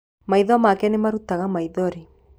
Maitho make nĩmarutaga maithori.